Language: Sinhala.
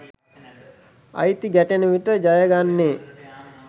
අයිති ගැටෙන විට ජයගන්නේ